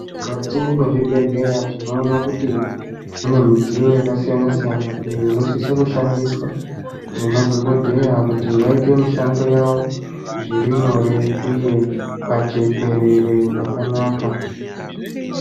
Mukati mwe zvibhedhleya tinoona kuti mune midziyo yaka siyana siyana iyo unosisa kushandiswa nge madhokodheya kuti vaite mishando yavo zviri nyore uye pajekerere pakanaka.